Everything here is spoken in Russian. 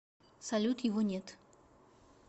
салют его нет